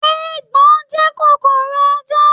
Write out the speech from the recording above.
Eegbon jẹ́ kòkòrò ajá.